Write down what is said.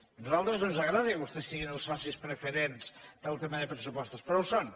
a nosaltres no ens agrada que vostès siguin els socis preferents pel tema de pressupostos però ho són